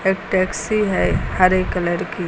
एक टैक्सी है हरे कलर की।